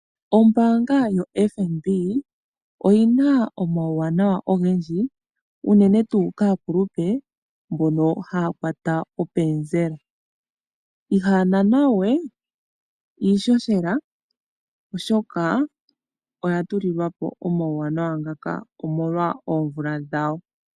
Ombaanga yotango yopashigwana oyina uuwanawa owundji, unene tuu kaakulupe mbono haya kwata openzela. Ihaya namwa iishoshela noya tulilwa po omauwanawa ngano molwa oomvula dhawo.